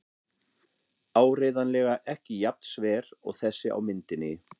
Áreiðanlega ekki jafn sver og þessi á myndinni.